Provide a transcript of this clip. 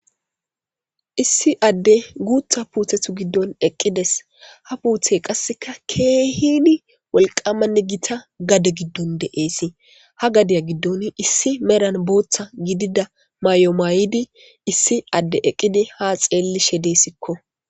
Issi adde guutha puuthethu giddon eqqides ha puuthey qasseka keehini wolqamanne gita gade giddon de'eesi ha gadiya giddon issi meran booththa gidida mayo maayidi issi adde eqqidi ha xeellishe deesikko.